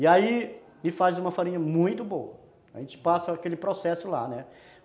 E aí ele faz uma farinha muito boa, a gente passa aquele processo lá, né?